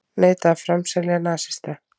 Neita að framselja nasista